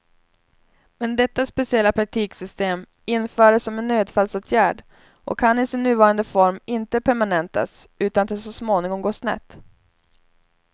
Men detta speciella praktiksystem infördes som en nödfallsåtgärd och kan i sin nuvarande form inte permanentas utan att det så småningom går snett.